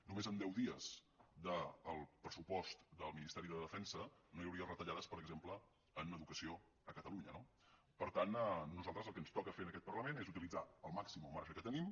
només amb deu dies del pressupost del ministeri de defensa no hi hauria retallades per exemple en educació a catalunya no per tant a nosaltres el que ens toca fer en aquest parlament és utilitzar al màxim el marge que tenim